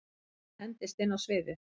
Mæja hendist inn á sviðið.